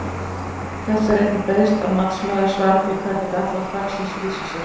Þess er einnig beiðst að matsmaður svari því hvernig gallar þaksins lýsa sér?